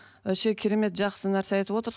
вообще керемет жақсы нәрсе айтып отырсыз